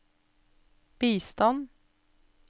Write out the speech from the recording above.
bistand